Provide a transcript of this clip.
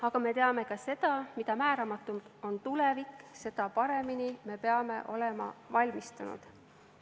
Aga me teame ka seda, et mida määramatum on tulevik, seda paremini me peame olema valmistunud.